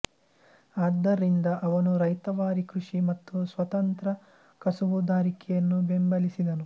ಆದ್ದರಿಂದ ಅವನು ರೈತವಾರಿ ಕೃಷಿ ಮತ್ತು ಸ್ವತಂತ್ರ ಕಸುಬುದಾರಿಕೆಯನ್ನು ಬೆಂಬಲಿಸಿದನು